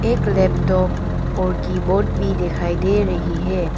एक लैपटॉप और कीबोर्ड भी दिखाई दे रही है।